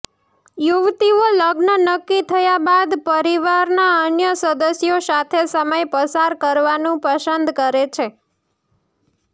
યુવતીઓ લગ્ન નક્કી થયા બાદ પરિવારના અન્ય સદસ્યો સાથે સમય પસાર કરવાનું પસંદ કરે છે